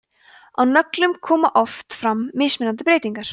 á nöglum koma oft fram mismunandi breytingar